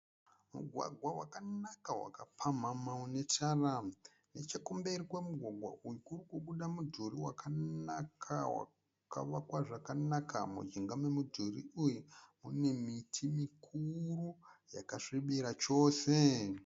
Mugwagwa wakanaka wakapamhama une tara. Nechokumberi kwomugwagwa uyu kuri kubuda mudhuri wakanaka wakavakwa zvakanaka. Mujinga momudhuri uyu mune miti mikuru yakasvibira chose.